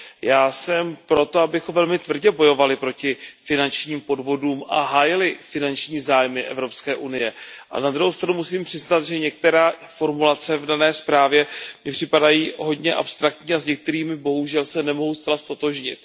Já jsem proto, abychom velmi tvrdě bojovali proti finančním podvodům a hájili finanční zájmy EU, ale na druhou stranu musím přiznat, že některé formulace v dané zprávě mi připadají hodně abstraktní a s některými bohužel se nemohu zcela ztotožnit.